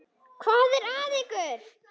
Hvað er að ykkur?